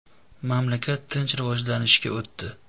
Mamlakat tinch rivojlanishga o‘tdi.